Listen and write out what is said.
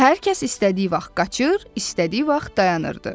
Hər kəs istədiyi vaxt qaçır, istədiyi vaxt dayanırdı.